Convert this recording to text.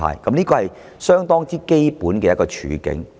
這是相當基本的處境。